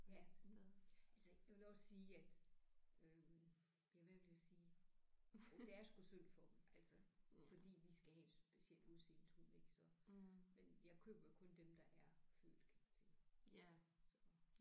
Ja altså jeg vil også sige at øh ja hvad vil jeg sige jo det er sgu synd for dem altså fordi vi skal have et specielt udseendet hund ik så men jeg køber kun dem der er født kan man sige så